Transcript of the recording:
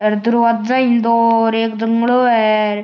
अर दरवाजा ही दो र एक जंगलो है र।